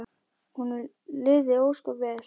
Honum liði ósköp vel.